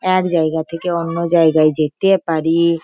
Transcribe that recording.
এক জায়গা থেকে অন্য জায়গায় যেতে-এ পারি-ই।